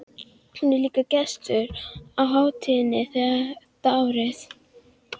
Hún er líka gestur á hátíðinni þetta árið.